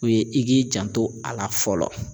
U ye i k'i janto a la fɔlɔ